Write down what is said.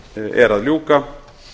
er að ljúka